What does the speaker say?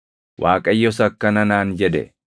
Waaqayyos akkana naan jedhe;